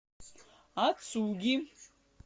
ацуги